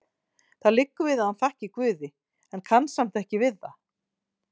Það liggur við að hann þakki Guði, en kann samt ekki við það.